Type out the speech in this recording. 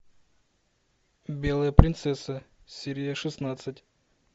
белая принцесса серия шестнадцать